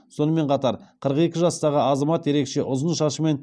сонымен қатар қырық екі жастағы азамат ерекше ұзын шашымен